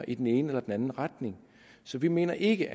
i den ene eller anden retning så vi mener ikke